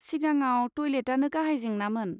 सिगाङाव टयलेटानो गाहाय जेंनामोन।